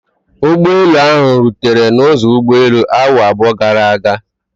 Ụgbọelu ahụ rutere n'ụzọ ụgbọelu awa abụọ gara aga.